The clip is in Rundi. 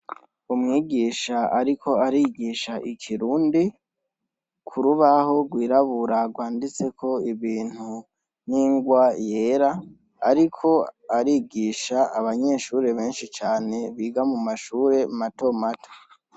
Umwigisha ariko arigisha ikirundi kurubaho rwirabura rwanditseko ibintu ningwa yera ariko arigisha abanyeshure benshi cane biga mumashure matomato.